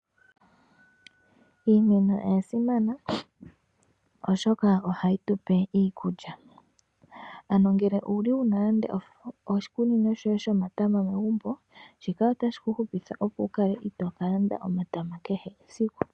Iimeno oyasimana oshoka ohayi tupe iikulya, ano ngele owuna nande oshikunino shoye shomatama megumbo shika otashi kuhupitha opo wukale itoo kalanda omatama kehe esiku.